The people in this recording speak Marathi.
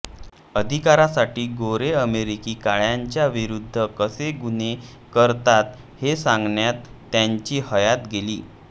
अधिकारांसाठी गोरे अमेरिकी काळ्यांच्या विरुद्ध कसे गुन्हे करतात हे सांगण्यात त्याची हयात गेली